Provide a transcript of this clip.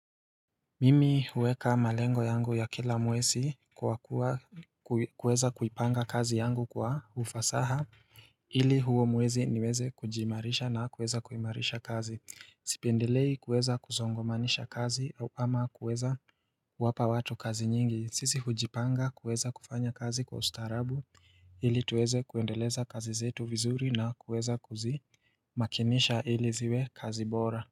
Mimi huweka malengo yangu ya kila mwezi kwa kuweza kuipanga kazi yangu kwa ufasaha ili huo mwezi niweze kujiimarisha na kuweza kuimarisha kazi. Sipendelei kuweza kusongomanisha kazi ama kuweza kuwapa watu kazi nyingi. Sisi hujipanga kuweza kufanya kazi kwa ustaarabu ili tuweze kuendeleza kazi zetu vizuri na kuweza kuzimakinisha ili ziwe kazi bora.